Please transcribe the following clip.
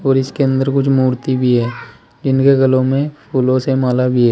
और इसके अंदर कुछ मूर्ति भी है। इनके गलों में फूलों से माला भी है।